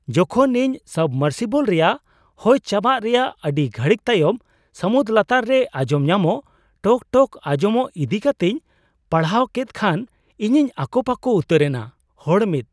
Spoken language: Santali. ᱡᱚᱠᱷᱚᱱ ᱤᱧ ᱥᱟᱵᱢᱚᱨᱥᱤᱵᱚᱞ ᱨᱮᱭᱟᱜ ᱦᱚᱭ ᱪᱟᱵᱟᱜ ᱨᱮᱭᱟᱜ ᱟᱹᱰᱤ ᱜᱷᱟᱹᱲᱤᱠ ᱛᱟᱭᱚᱢ ᱥᱟᱹᱢᱩᱫ ᱞᱟᱛᱟᱨ ᱨᱮ ᱟᱸᱡᱚᱢ ᱧᱟᱢᱚᱜ ᱴᱚᱠ ᱴᱚᱠ ᱟᱸᱡᱚᱢᱚᱜ ᱤᱫᱤ ᱠᱟᱛᱮᱧ ᱯᱟᱲᱦᱟᱣ ᱠᱮᱫ ᱠᱷᱟᱱ ᱤᱧᱤᱧ ᱟᱠᱚᱯᱟᱠᱚ ᱩᱛᱟᱹᱨᱮᱱᱟ ᱾ (ᱦᱚᱲ ᱑)